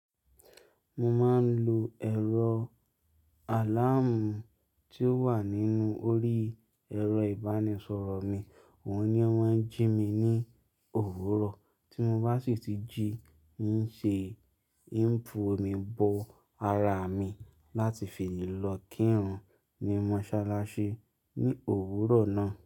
Mo máa ń lo ẹ̀rọ àláàmú tí ó wà nínú orí ẹ̀rọ ìbánisọ̀rọ̀ mi, òun ni mọ́n jí mi ní òwúrọ̀. Tí mo bá sì ti jí, ń ṣe info, mi bọ ara mi láti fi lè lọ kírun ní mọ́sálásí ní òwúrọ̀ náà.